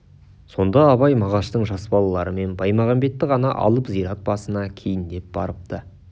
сонда абай мағаштың жас балалары мен баймағамбетті ғана алып зират басына кейіндеп барыпты